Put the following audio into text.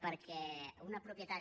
perquè una propietat